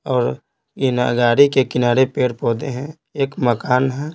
और इन गाड़ी के किनारे पेड़-पौधे हैं एक मकान है।